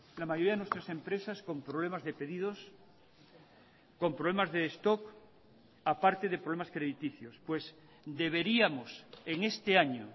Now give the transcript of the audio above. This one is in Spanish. la mayoría de nuestras empresas con problemas de pedidos con problemas de stock aparte de problemas crediticios pues deberíamos en este año